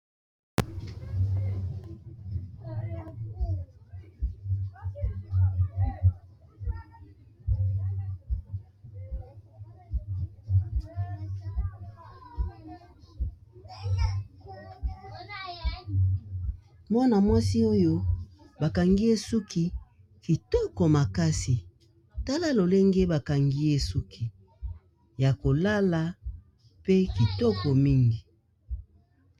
Mwana mwasi oyo bakangi esuki kitoko makasi tala lolenge bakangi esuki ya kolala pe kitoko mingi.